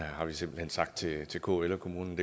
har simpelt hen sagt til til kl og kommunerne